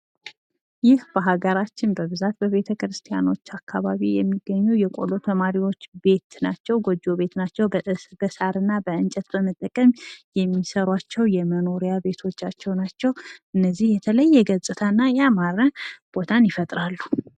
ይህ በሀገራችን በብዛት በቤተክርስቲያኖች አካባቢ የሚገኙ የቆሎ ተማሪዎች ቤት ናቸው። ጎጆ ቤት ናቸዉ። በእንጨትና በሳር በመጠቀም የሚሰሯቸው የመኖሪያ ቤቶቻቸው ናቸው። እነዚህ የተለየ ገጽታና ያማረ ቦታን ይፈጥራሉ።